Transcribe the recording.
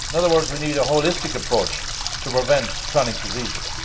in other words, we need a holistic approach to preventing chronic diseases.